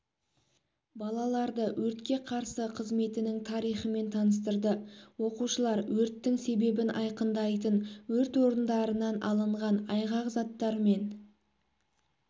балаларды өртке қарсы қызметінің тарихымен таныстырды оқушылар өрттің себебін айқындайтын өрт орындарынан алынған айғақ заттармен